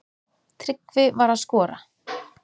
Tryggvi var að skora.